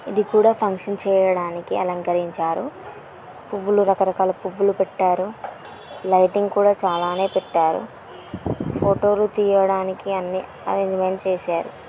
ఇది కూడా ఫంక్షన్ చేయడానికే అలంకరించారు. పువ్వులు రకరకాల పువ్వులు పెట్టారు. లైటింగ్ కూడా చాలానే పెట్టారు. ఫోటోలు తీయడానికి అన్ని అర్రంజ్మెంట్స్ చేసారు.